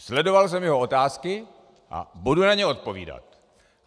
Sledoval jsem jeho otázky a budu na ně odpovídat.